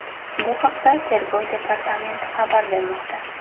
Bu haqda Tergov departamenti xabar bermoqda.